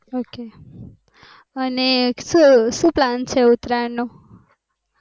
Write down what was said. ok અને સુ plan છે ઉતરાયણ નો?